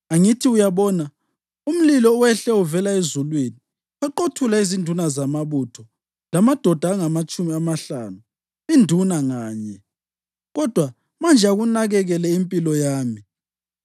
Angithi uyabona, umlilo wehle uvela ezulwini waqothula izinduna zamabutho lamadoda angamatshumi amahlanu induna nganye. Kodwa manje akunakekele impilo yami!”